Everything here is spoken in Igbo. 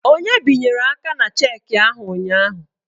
Onye binyere aka na cheki ahụ ụnyaahụ?